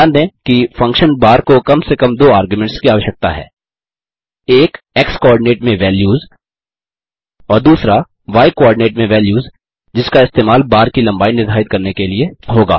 ध्यान दें कि फंक्शन bar को कम से कम दो आर्ग्यूमेंट्स की आवश्यकता है एक x कोआर्डिनेट में वैल्यूज़ और दूसरा y कोआर्डिनेट में वैल्यूज़ जिसका इस्तेमाल बार की लम्बाई निर्धारित करने के लिए होगा